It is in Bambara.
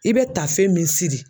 I bɛ tafe min siri